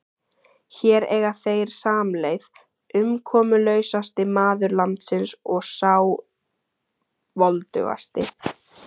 Hér eiga þeir samleið, umkomulausasti maður landsins og sá voldugasti.